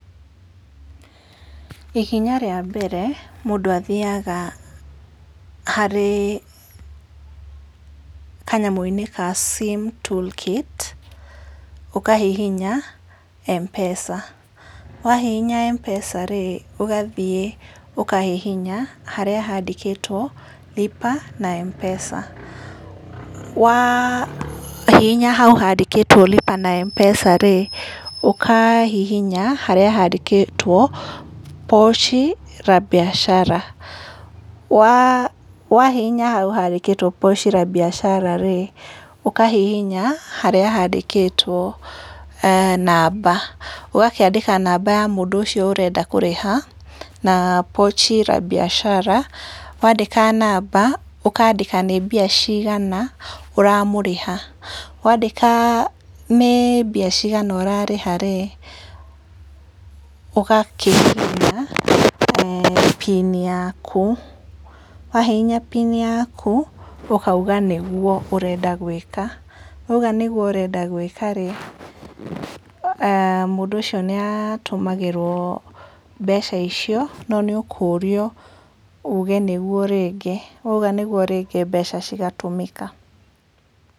Ikinya rĩa mbere, mũndũ athiaga harĩ kanyamũ-inĩ ga SIM tool kit, ũkahihinya M-pesa-rĩ, ũgathiĩ ũkahihinya harĩa handĩkĩtwo lipa na M-pesa'. Wahihinya hau handĩkitwo lipa na M-pesa-rĩ, ũkahihinya harĩa handĩkĩtwo 'Pochi la Biashara'. Wahihinya hau handĩkitwo Pochi la Biashara-rĩ, ũkahihinya harĩa handĩkĩtwo namba. Ũgakĩandĩka namba ya mũndũ ũcio ũrenda kũrĩha, na Pochi la Biashara. Wandĩka namba, ũkandĩka nĩ mbia cigana ũramũrĩha. Wandĩka nĩ mbia cigana ũrarĩha-rĩ, ũgakĩihũria PIN yaku, wahihinya PIN yaku, ũkauga nĩguo ũrenda gũĩka. Wauga nĩguo ũrenda gũĩka-rĩ, e mũndũ ũcio nĩ atũmagĩrũo mbeca icio no nĩ ũkũrio uge nĩguo rĩngĩ, wauga nĩguo mbeca igatũmĩka.